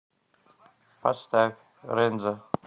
поставь рензо